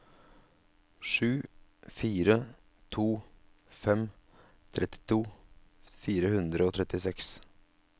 sju fire to fem trettito fire hundre og trettiseks